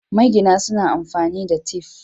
Magina suna amfani da tif.